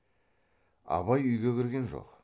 абай үйге кірген жоқ